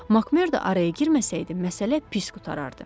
Makmerda araya girməsəydi, məsələ pis qurtarardı.